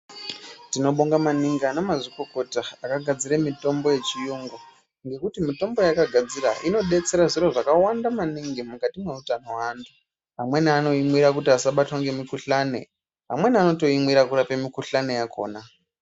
Tinobonga maningi ana mazvikokota akagadzira mitombo yechirungu ngekuti mitombo yavakagadzira inodetsera zviro zvakawanda maningi mukati meutano hwevantu vamweni vanoimwira kuti vasabatwa nemikuhlani amweni anoimwira kurapa mikuhlani yakona.